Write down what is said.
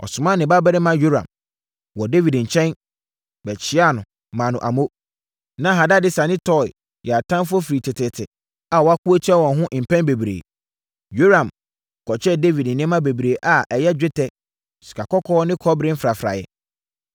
ɔsomaa ne babarima Yoram wɔ Dawid nkyɛn, bɛkyiaa no maa no amo. Na Hadadeser ne Toi yɛ atamfoɔ firi teteete a wɔako atia wɔn ho mpɛn bebree. Yoram kɔkyɛɛ Dawid nneɛma bebree a ɛyɛ, dwetɛ, sikakɔkɔɔ ne kɔbere mfrafraeɛ.